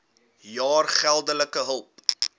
jaar geldelike hulp